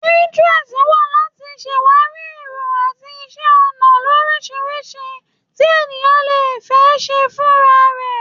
Pinterest wà láti ṣàwàrí èrò àti iṣẹ́ ọnà lóríṣiríṣi tí ènìyàn lè ṣe fúnra rẹ̀.